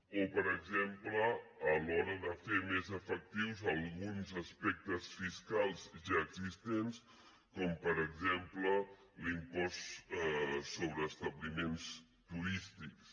o per exemple a l’hora de fer més efectius alguns aspectes fiscals ja existents com per exemple l’impost sobre establiments turístics